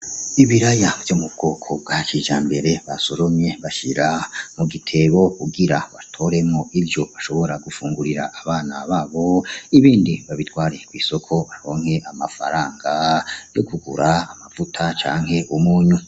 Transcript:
Ibiraya vyo mu bwoko bwa kijambere basoromye bashira mu gitebo kugira batoremwo ivyo bashobora gufungurira abana babo ibindi babitware kw'isoko baronke amafaranga yo kugura amavuta canke umunyu.